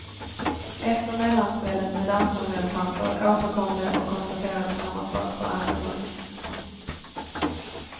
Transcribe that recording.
Efter mellanspelet med dansande elefanter återkom de och konstaterade samma sak för andra gången.